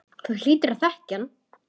Þú hlýtur að þekkja hann.